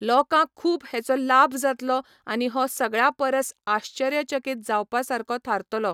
लोकांक खूब हेचो लाब जातलो आनी हो सगळ्या परस आश्चर्यचकित जावपा सारको थारतलो